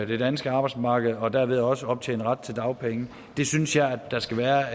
det danske arbejdsmarked og derved også optjene ret til dagpenge det synes jeg at der skal være